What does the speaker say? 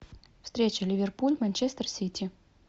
встреча ливерпуль манчестер сити